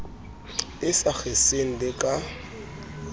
e sa kgeseng le ka